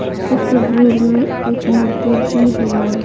इस तस्वीर में एक मूर्ति भी है।